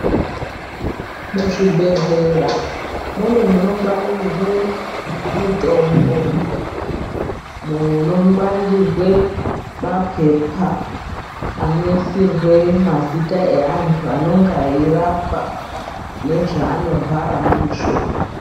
Muzvibhedhlera mune munongwaririrwe mutombo, munongwaririre mapepa anoisirwe mazita neanthu anenga eirapwa nezvevanorwara ndizvo.